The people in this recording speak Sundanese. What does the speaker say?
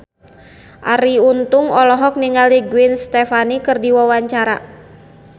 Arie Untung olohok ningali Gwen Stefani keur diwawancara